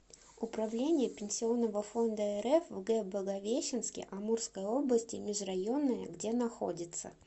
управление пенсионного фонда рф в г благовещенске амурской области межрайонное где находится